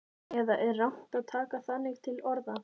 Eða er rangt að taka þannig til orða?